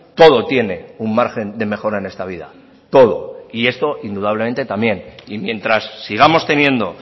todo tiene un margen de mejora en esta vida todo y esto indudablemente también y mientras sigamos teniendo